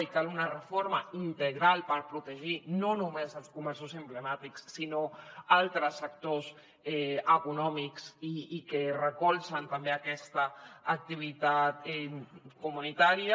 i cal una reforma integral per protegir no només els comerços emblemàtics sinó altres actors econòmics i que recolzen també aquesta activitat comunitària